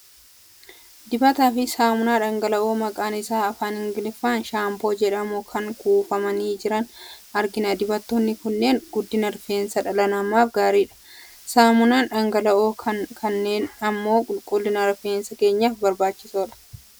Dibataa fi saamunaa dhangala'oo maqaan isaa afaan Ingiliffaan "Shampoo" jedhamu kan kuufamanii jiran argina. Dibatoonni kunneen guddina rifeensa dhala namaaf gaariidha. Saamunaan dhangala'oo ta'an kunneen immoo qulqullina rifeensa keenyaaf barbaachisoodha.